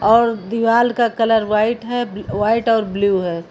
और दीवाल का कलर व्हाइट है व्हाइट और ब्लू है।